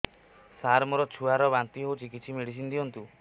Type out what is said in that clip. ସାର ମୋର ଛୁଆ ର ବାନ୍ତି ହଉଚି କିଛି ମେଡିସିନ ଦିଅନ୍ତୁ